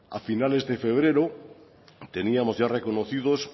a finales de febrero teníamos ya reconocidos